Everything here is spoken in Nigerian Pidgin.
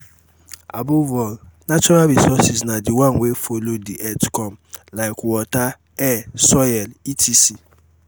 above all natural resource na the one wey follow the earth come like water air soil etc.